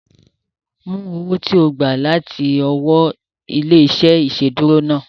Mú owó ti o gba láti ọwọ́ ilé-iṣẹ́ ìsedúró náà